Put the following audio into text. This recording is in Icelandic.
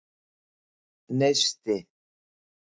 Neisti